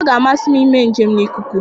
Ọ ga-amasị m ime njem n'ikuku.